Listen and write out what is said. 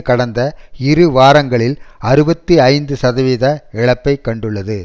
கடந்த இரு வாரங்களில் அறுபத்தி ஐந்து சதவித இழப்பைக் கண்டுள்ளது